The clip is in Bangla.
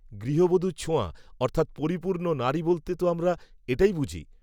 গূহবধূর ছোঁয়া, অর্থাত্ পরিপূর্ণ নারী বলতে, তো আমরা, এটাই বুঝি